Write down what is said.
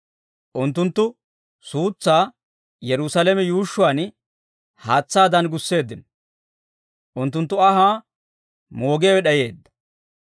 Unttunttu suutsaa Yerusaalame yuushshuwaan, haatsaadan gusseeddino; unttunttu anhaa moogiyaawe d'ayeedda.